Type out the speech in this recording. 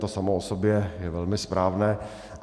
To samo o sobě je velmi správné.